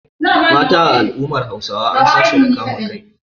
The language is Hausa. Mata a al’ummar Hausawa an san su da kama kai.